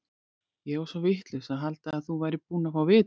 Ég var svo vitlaus að halda að þú værir búinn að fá vitið.